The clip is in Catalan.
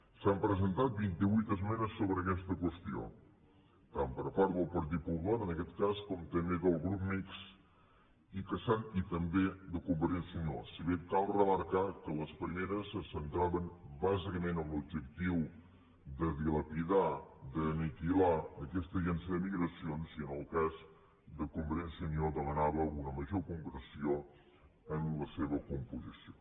s’han presentat vint ivuit esmenes sobre aquesta qüestió tant per part del partit popular en aquest cas com també del grup mixt i també de convergència i unió si bé cal remarcar que les primeres se centraven bàsicament en l’objectiu de dilapidar d’aniquilar aquesta agència de migracions i en el cas de convergència i unió es demanava una major concreció en la seva composició